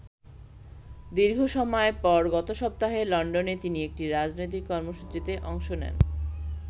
দীর্ঘসময় পর গত সপ্তাহে লন্ডনে তিনি একটি রাজনৈতিক কর্মসূচিতে অংশ নেন।